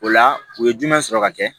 O la u ye jumɛn sɔrɔ ka kɛ